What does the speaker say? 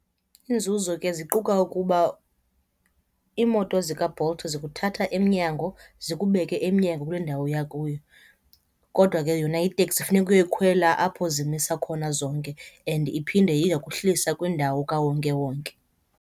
Iinzuzo ke ziquka ukuba iimoto zikaBolt zokuthatha emnyango zikubeke emnyango kule ndawo uya kuyo. Kodwa ke yona iteksi funeka uyoyikhwelela apho zimisa khona zonke and iphinde iyokuhlisa kwindawo kawonke wonke.